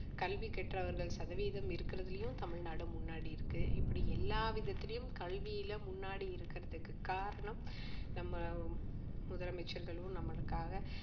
கல்வி கற்றவர்கள் சதவிகிதம் இருக்குறதிலும் தமிழ்நாடு முன்னாடி இருக்கு இப்படி எல்லா விதத்திலும் கல்வியில முன்னாடி இருக்கிறதுக்கு காரணம் நம்ம முதலமைச்சர்களும் நம்மளுக்காக